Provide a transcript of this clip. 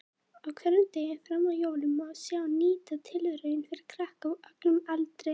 Á hverjum degi fram að jólum má sjá nýja tilraun fyrir krakka á öllum aldri.